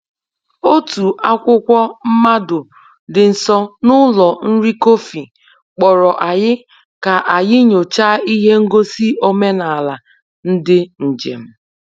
Otu akwụkwọ mmado dị nso n’ụlọ nri kọfị kpọrọ anyị ka anyị nyochaa ihe ngosi omenala ndị njem.